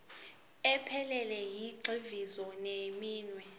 ephelele yezigxivizo zeminwe